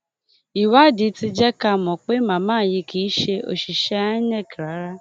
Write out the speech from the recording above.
ìwádìí ti jẹ ká mọ pé màmá yìí kì í ṣe òṣìṣẹ inec rárá